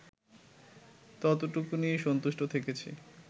ততটুকু নিয়েই সন্তুষ্ট থেকেছি